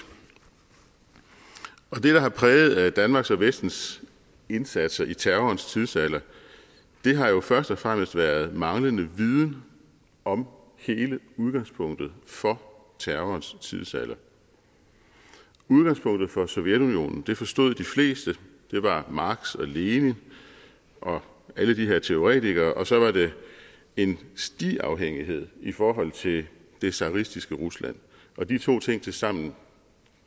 og det der har præget danmarks og vestens indsatser i terrorens tidsalder har jo først og fremmest været manglende viden om hele udgangspunktet for terrorens tidsalder udgangspunktet for sovjetunionen forstod de fleste det var marx og lenin og alle de her teoretikere og så var det en stiafhængighed i forhold til det tsaristiske rusland og de to ting tilsammen